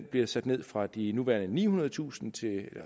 bliver sat ned fra de nuværende cirka nihundredetusind til